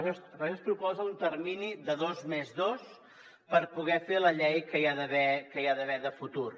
per això es proposa un termini de dos més dos per poder fer la llei que hi ha d’haver en el futur